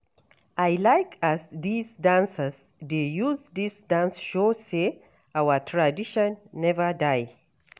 I like as dese dancers dey use dis dance show sey our tradition neva die.